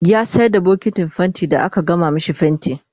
ya sayar da bokitin fainti da aka gama mashi fainti